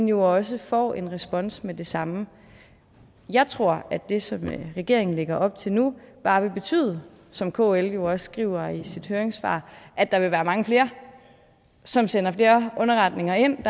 jo også får en respons med det samme jeg tror at det som regeringen lægger op til nu bare vil betyde som kl jo også skriver i sit høringssvar at der vil være mange flere som sender flere underretninger ind